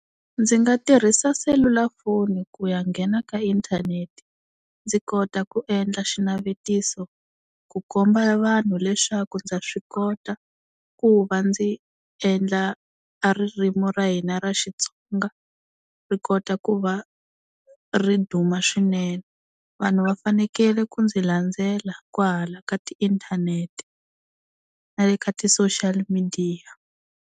Ndzi nga tirhisa selulafoni ku ya nghena ka inthanete ndzi kota ku endla xinavetiso ku komba vanhu leswaku ndza swi kota ku va ndzi endla a ririmi ra hina ra Xitsonga ri kota ku va ri duma swinene. Vanhu va fanekele ku ndzi landzela kwahala ka tiinthanete na le ka ti-social midiya.